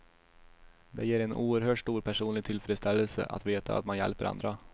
Det ger en oerhört stor personlig tillfredsställelse att veta att man hjälper andra.